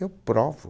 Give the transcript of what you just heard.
Eu provo.